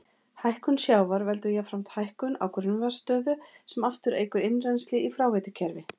Hækkun sjávar veldur jafnframt hækkun á grunnvatnsstöðu sem aftur eykur innrennsli í fráveitukerfi.